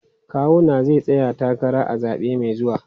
Kawuna zai tsaya takara a zabe mai zuwa.